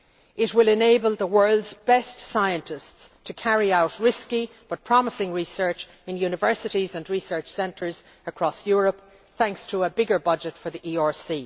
It will enable the world's best scientists to carry out risky but promising research in universities and research centres across Europe, thanks to a bigger budget for the